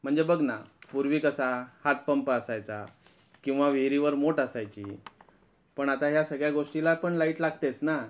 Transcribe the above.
म्हणजे बघ ना पूर्वी कसा हातपंप असायचा किंवा विहिरीवर मोट असायची पण आता या सगळ्या गोष्टींला पण लाइट लागतेच ना